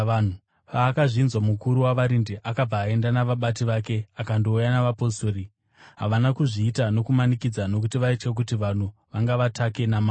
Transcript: Paakazvinzwa, mukuru wavarindi akabva aenda navabati vake akandouya navapostori. Havana kuzviita nokumanikidza, nokuti vaitya kuti vanhu vangavatake namabwe.